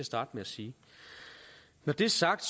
starte med at sige når det er sagt